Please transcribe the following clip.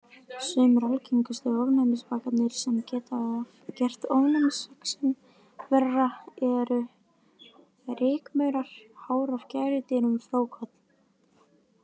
Sumir algengustu ofnæmisvakarnir sem geta gert ofnæmisexem verra eru: Rykmaurar, hár af gæludýrum, frjókorn.